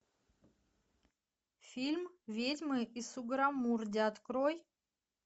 фильм ведьмы из сугаррамурди открой